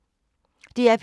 DR P3